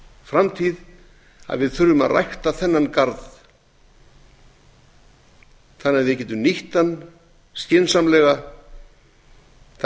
framtíð að við þurfum að rækta þennan garð þannig að við getum nýtt hann skynsamlega þannig að